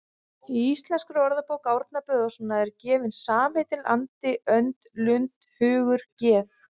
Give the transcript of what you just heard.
Í Íslenskri orðabók Árna Böðvarssonar eru gefin samheitin andi, önd, lund, hugur, geð